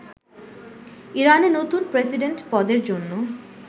ইরানে নতুন প্রেসিডেন্ট পদের জন্য